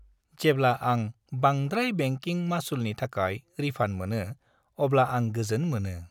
जेब्ला आं बांद्राय बेंकिं मासुलनि थाखाय रिफान्ड मोनो अब्ला आं गोजोन मोनो।